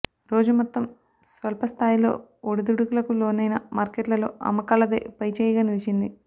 రోజు మొత్తం స్వల్ప స్థాయిలో ఒడిదుడుకులకు లోనైన మార్కెట్లలో అమ్మకాలదే పైచేయిగా నిలిచింది